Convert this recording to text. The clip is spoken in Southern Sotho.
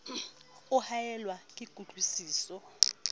o haellwa ke kutlwi siso